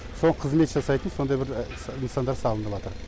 соған қызмет жасайтын сондай бір нысандар салынып жатыр